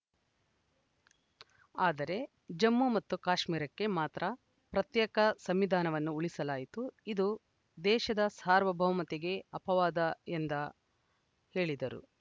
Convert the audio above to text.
ಆದರೆ ಜಮ್ಮು ಮತ್ತು ಕಾಶ್ಮೀರಕ್ಕೆ ಮಾತ್ರ ಪ್ರತ್ಯೇಕ ಸಂವಿಧಾನವನ್ನು ಉಳಿಸಲಾಯಿತು ಇದು ದೇಶದ ಸಾರ್ವಭೌಮತೆಗೆ ಅಪವಾದ ಎಂದ ಹೇಳಿದರು